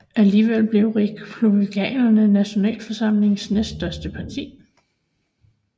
Alligevel blev Republikanerne Nationalforsamlingens næststørste parti